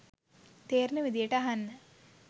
තේරෙන විදියට අහන්න.